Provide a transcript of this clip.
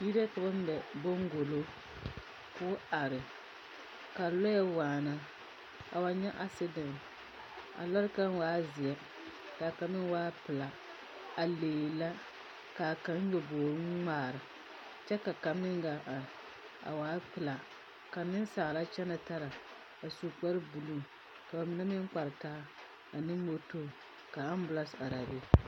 Yiri la ka mԑ baŋgolo. Ka lͻԑ waana a wa nyԑ asedԑnte. A lͻre kaŋ waa zeԑ ka kaŋ meŋ pelaa. A lee la kaa kaŋ nyoboori ŋmaare kyԑ ka kaŋ gaa are, a waa pelaa ka meŋ saa la kyԑnԑ tara, a su kpare buluu. Ka ba mine meŋ kpare taa ane motori ka ambulaase araa be.